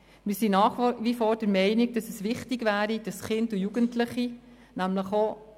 Wir sind nach wir vor der Meinung, dass es richtig wäre, Kinder und Jugendliche separat zu betreuen.